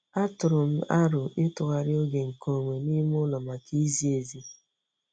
Atụụrụ m aro ịtụgharị oge nke onwe n'ime ụlọ maka izi ezi.